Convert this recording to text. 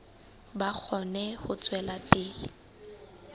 ba kgone ho tswela pele